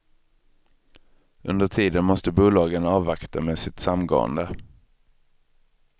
Under tiden måste bolagen avvakta med sitt samgående.